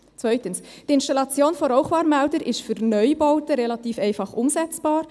Zweitens: Die Installation von Rauchwarnmeldern sei für Neubauten relativ einfach umsetzbar.